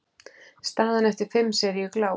Staðan eftir fimm seríu gláp.